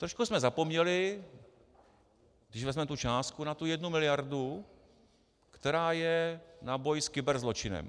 Trošku jsme zapomněli, když vezmeme tu částku, na tu jednu miliardu, která je na boj s kyberzločinem.